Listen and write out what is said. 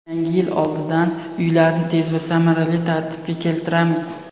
Yangi yil oldidan uylarni tez va samarali tartibga keltiramiz.